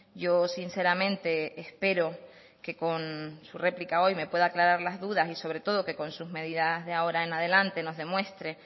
yo sinceramente espero que con su réplica hoy me pueda aclarar las dudas y sobre todo que con sus medidas de ahora en adelante nos demuestre